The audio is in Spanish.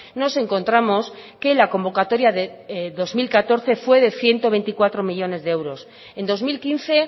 nos encontramos que la convocatoria de dos mil catorce fue de ciento veinticuatro millónes de euros en dos mil quince